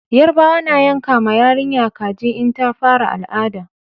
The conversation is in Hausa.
Yarbawa na yanka ma yarinya kaji in ta fara al'ada